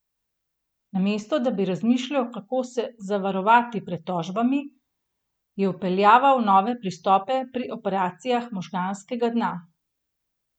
Namesto da bi razmišljal, kako se zavarovati pred tožbami, je vpeljeval nove pristope pri operacijah možganskega dna.